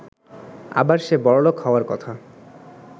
আবার সে বড়লোক হওয়ার কথা।